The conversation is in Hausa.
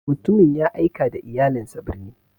Mutumin ya aika da iyalinsa birni.